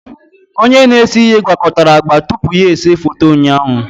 Onye na-ese ihe gwakọtara agba tupu ya ese foto ụnyaahụ